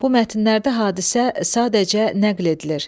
Bu mətnlərdə hadisə sadəcə nəql edilir.